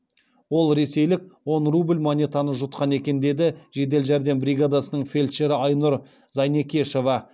ол ресейлік он рубль монетаны жұтқан екен деді жедел жәрдем бригадасының фельдшері айнұр зайнекешова